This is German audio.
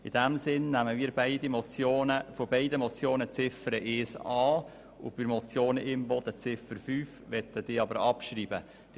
In diesem Sinne nehmen wir von beiden Motionen die Ziffern 1 an und ebenso Ziffer 5 der Motion Imboden, wobei wir diese Ziffer gleichzeitig abschreiben lassen möchten.